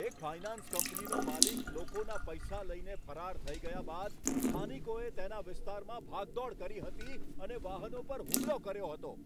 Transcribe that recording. એક ફાઇનાન્સ કંપનીનો માલિક લોકોના પૈસા લઈને ફરાર થઈ ગયા બાદ સ્થાનિકોએ તેના વિસ્તારમાં ભાગદોડ કરી હતી અને વાહનો પર હુમલો કર્યો હતો.